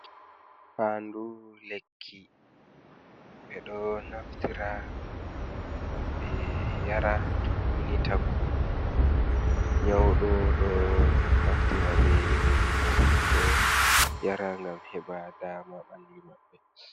Fadu lekki, ɓedo naftira gam ɓe yara, toni ni tagu nyaudo ɗo naftira ɓe iri lekki ji ɗo yara gam heba dama ɓalli maɓɓe.